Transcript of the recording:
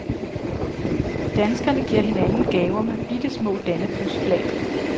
Danskerne giver hinanden gaver med bittesmå dannebrogsflag.